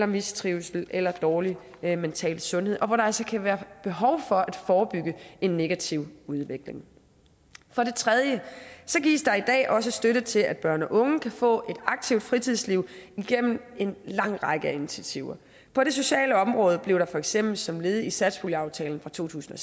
mistrivsel eller dårlig mental sundhed og hvor der altså kan være behov for at forebygge en negativ udvikling for det tredje gives der i dag også støtte til at børn og unge kan få et aktivt fritidsliv igennem en lang række af initiativer på det sociale område blev der for eksempel som led i satspuljeaftalen fra to tusind